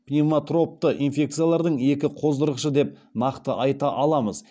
пневмотропты инфекциялардың екі қоздырғышы деп нақты айта аламыз